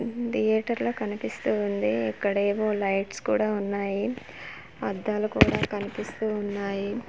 ఉమ్ theatre ల కనిపిస్తూ ఉంది ఇక్కడేవో లైట్స్ కూడా ఉన్నాయి అద్దాలు కూడా కనిపిస్తూ ఉన్నాయి.